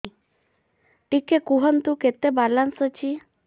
ଟିକେ କୁହନ୍ତୁ କେତେ ବାଲାନ୍ସ ଅଛି